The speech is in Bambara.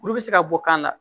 Kuru bɛ se ka bɔ kan na